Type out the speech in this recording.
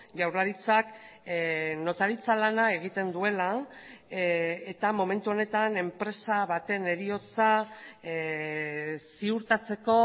jaurlaritzak notaritza lana egiten duela eta momentu honetan enpresa baten heriotza ziurtatzeko